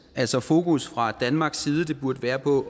altså fokus fra danmarks side burde være på